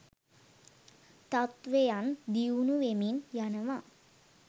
තත්ත්වයන් දියුණුවෙමින් යනවා.